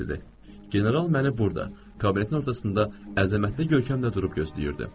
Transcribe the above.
General məni burada, kabinetin ortasında əzəmətli görkəmlə durub gözləyirdi.